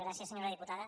gràcies senyora diputada